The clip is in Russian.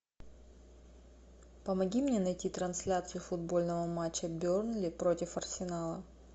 помоги мне найти трансляцию футбольного матча бернли против арсенала